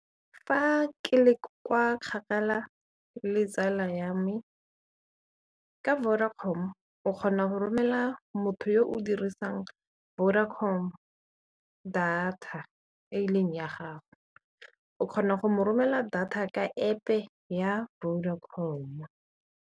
Fa ke le kwa kgakala le tsala ya me, ka Vodacom o kgona go romelela motho yo o dirisang Vodacom data e leng ya gago o kgona go mo romela data ka App-e ya Vodacom.